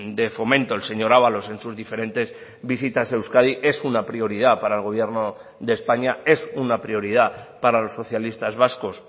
de fomento el señor ábalos en sus diferentes visitas a euskadi es una prioridad para el gobierno de españa es una prioridad para los socialistas vascos